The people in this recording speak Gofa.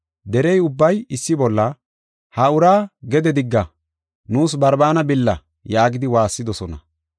Derey ubbay issi bolla, “Ha uraa gede digga, nuus Barbaana billa” yaagidi waassidosona.